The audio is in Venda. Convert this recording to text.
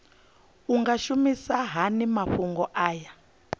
nga shumisa hani mafhumgo aya